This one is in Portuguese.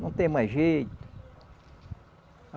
Não tem mais jeito.